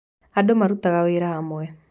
Andũ marutaga wĩra hamwe.